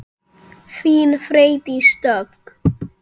Þín, Freydís Dögg.